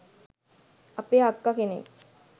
අපේ අක්කා කෙනෙක්